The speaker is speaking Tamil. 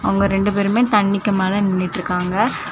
அவுங்க ரெண்டு பேருமே தண்ணிக்கு மேல நின்னுட்ருக்காங்க.